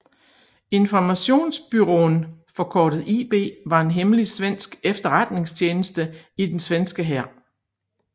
Informationsbyrån forkortet IB var en hemmelig svensk efterretningstjeneste i den svenske hær